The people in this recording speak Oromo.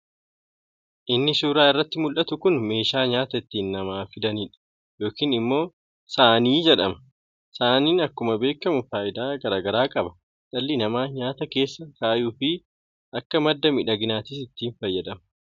Inni suuraa irratti muldhatu kun meesha nyaata itti namaa fidaniidha yookin immo saanii jedhama. Saaniin akkuma beekkamu faayidaa garaa garaa qaba. Dhalli namaa nyaata keessa kaayuu fi akka madda midhaaginnattis ni fayyada.